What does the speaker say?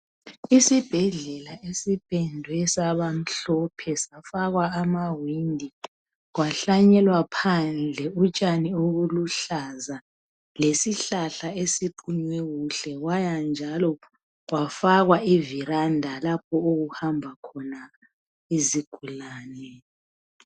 Isibhedlela sipendwe saba mhlophe safakwa amawindi, kwahlanyelwa phandle utshani obuluhlaza, lesihlahla esiqunywe kuhle kwaya njalo kwafakwa iveranda lapho okuhamba khona izigulani.